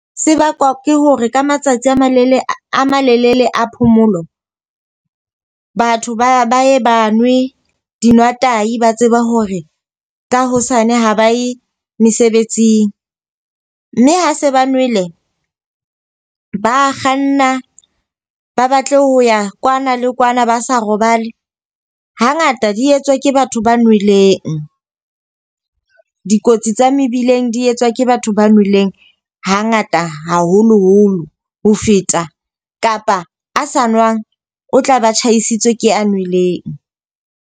Se bakwa ke hore ka matsatsi a male a malelele a phomolo. Batho ba ba ye ba nwe dinwa tahi ba tseba hore ka hosane ha ba ye mesebetsing. Mme ha se ba nwele, ba kganna ba batle ho ya kwana le kwana, ba sa robale. Ha ngata di etswa ke batho ba nweleng. Dikotsi tsa mebileng di etswa ke batho ba nweleng ha ngata haholoholo ho feta. Kapa a sa nwang, o tla ba tjhaisitswe ke a nweleng.